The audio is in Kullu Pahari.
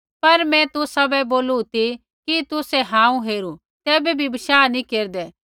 पर मैं तुसाबै बोलू ती कि तुसै हांऊँ हेरू तैबै भी बशाह नैंई केरदै